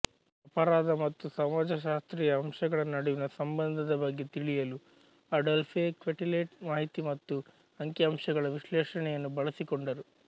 ಅಪರಾಧ ಮತ್ತು ಸಮಾಜಶಾಸ್ತ್ರೀಯ ಅಂಶಗಳ ನಡುವಿನ ಸಂಬಂಧದ ಬಗ್ಗೆ ತಿಳಿಯಲು ಅಡೋಲ್ಫೆ ಕ್ವೆಟೆಲೆಟ್ ಮಾಹಿತಿ ಮತ್ತು ಅಂಕಿಅಂಶಗಳ ವಿಶ್ಲೇಷಣೆಯನ್ನು ಬಳಸಿಕೊಂಡರು